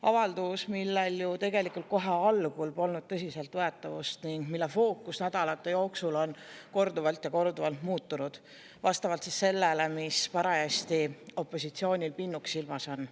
Avaldus, millel ju tegelikult kohe algul polnud tõsiseltvõetavust ning mille fookus on nädalate jooksul korduvalt ja korduvalt muutunud vastavalt sellele, mis parajasti opositsioonil pinnuks silmas on.